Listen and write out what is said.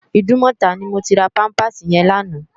Idúmòtá ni mó ti rá pàmpásí yèn làná